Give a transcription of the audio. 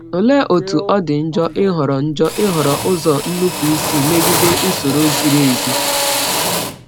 Olee otú ọ dị njọ ịhọrọ njọ ịhọrọ ụzọ nnupụisi megide usoro ziri ezi!